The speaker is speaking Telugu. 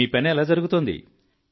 మీ పని ఎలా జరుగుతోంది